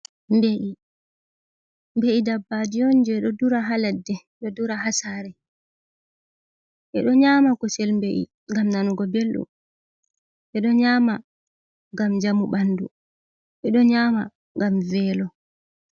Mbe’i. Ɗabbajion je ɗo dura ha ladde.do dura hasare. Beɗo nyama kosel mbe’i ngam nanugo beldum, beɗo nyama ngam jamu banɗu, beɗo nyama gam velo.